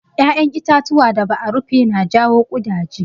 Ƴaƴan itatuwa da ba a rufe na jawo ƙudaje.